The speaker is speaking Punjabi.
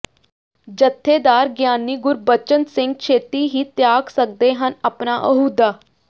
ਜਥੇਦਾਰ ਗਿਆਨੀ ਗੁਰਬਚਨ ਸਿੰਘ ਛੇਤੀ ਹੀ ਤਿਆਗ ਸਕਦੇ ਹਨ ਆਪਣਾ ਅਹੁਦਾ